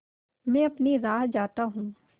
मैं अपनी राह जाता हूँ